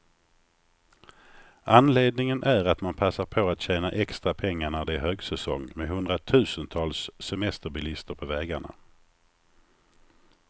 Anledningen är att man passar på att tjäna extra pengar, när det är högsäsong med hundratusentals semesterbilister på vägarna.